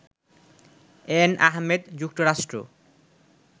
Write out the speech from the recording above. N Ahmed, যুক্তরাষ্ট্র